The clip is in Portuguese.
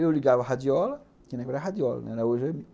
Eu ligava a radiola, tinha que ligar a radiola, né?